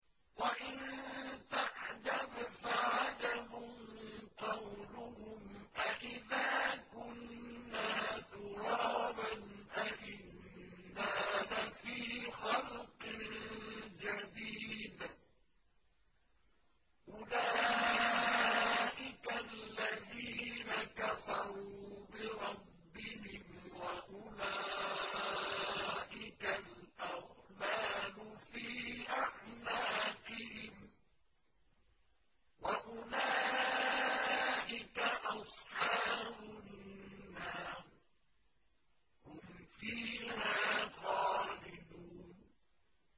۞ وَإِن تَعْجَبْ فَعَجَبٌ قَوْلُهُمْ أَإِذَا كُنَّا تُرَابًا أَإِنَّا لَفِي خَلْقٍ جَدِيدٍ ۗ أُولَٰئِكَ الَّذِينَ كَفَرُوا بِرَبِّهِمْ ۖ وَأُولَٰئِكَ الْأَغْلَالُ فِي أَعْنَاقِهِمْ ۖ وَأُولَٰئِكَ أَصْحَابُ النَّارِ ۖ هُمْ فِيهَا خَالِدُونَ